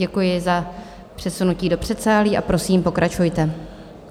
Děkuji za přesunutí do předsálí a prosím, pokračujte.